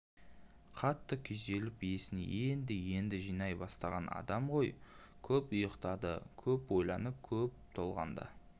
қатты күйзеліп есін енді-енді жинай бастаған адам ғой көп ұйықтады көп ойланып көп толғанды